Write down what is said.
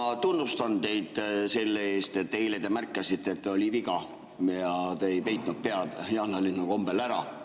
Ma tunnustan teid selle eest, et eile te märkasite, et oli viga, ja te ei peitnud pead jaanalinnu kombel ära.